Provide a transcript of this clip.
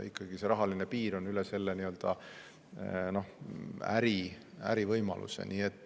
Ikkagi see rahaline piir on üle selle ärivõimaluse.